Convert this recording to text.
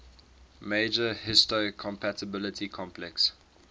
major histocompatibility complex